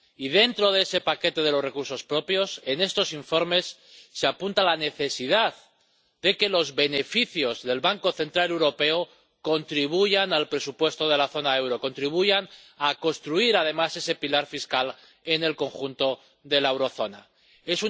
Y, dentro de ese paquete de los recursos propios, en estos informes se apunta la necesidad de que los beneficios del Banco Central Europeo contribuyan al presupuesto de la zona del euro, que contribuyan a construir, además, ese pilar fiscal en el conjunto de la zona del euro.